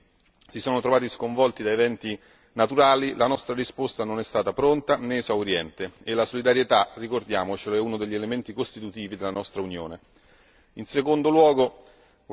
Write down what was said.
Spesso, quando alcuni Stati membri si sono trovati sconvolti da eventi naturali, la nostra risposta non è stata pronta né esauriente e la solidarietà ricordiamocelo è uno degli elementi costitutivi della nostra Unione.